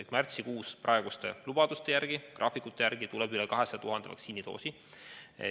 Ehk märtsikuus peaks praeguste lubaduste, graafikute järgi tulema üle 200 000 vaktsiinidoosi.